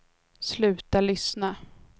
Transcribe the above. sluta lyssna